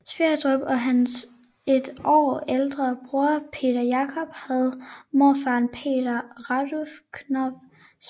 Sverdrup og hans et år ældre bror Peter Jacob havde morfaren Peter Randulf Knoph som huslærer